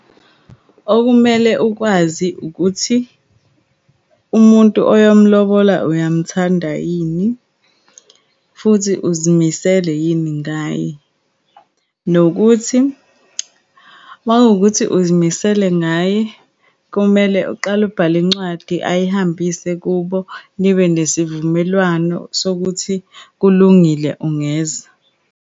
Okumele ukwazi ukuthi, umuntu oyomlobola uyamthanda yini, futhi uzimisele yini ngaye. Nokuthi uma wukuthi uzimisele ngaye, kumele uqale ubhale incwadi, ayihambise kubo, nibenesivumelwano sokuthi, kulungile ungeza.